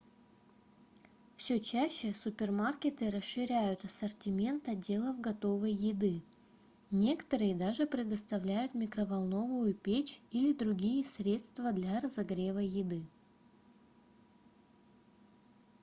все чаще супермаркеты расширяют ассортимент отделов готовой еды некоторые даже предоставляют микроволновую печь или другие средства для разогрева еды